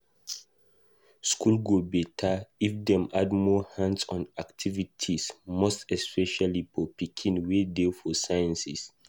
School go beta, if dem add more hands-on activities most especially for pikin wey dey for sciences